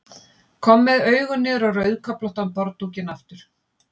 Kom með augun niður á rauðköflóttan borðdúkinn aftur.